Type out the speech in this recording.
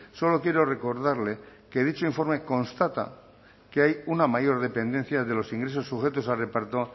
solo quiero recordarle que dicho informe constata que hay una mayor dependencia de los ingresos sujetos a reparto